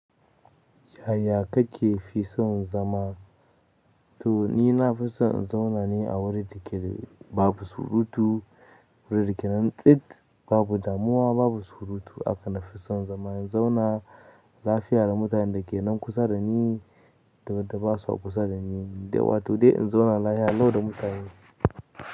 Yaya kake fi son zama? To ni nafi son in zauna ne a wurin da ke de babu surutu, wurin da ke nan tsit, babu damuwa, babu surutu. Aka nafi son zaman in zauna lafiya da mutanen da ke nan kusa da ni, da wada ba sa kusa da ni, dai wato dai in zauna lahiya lau da mutane.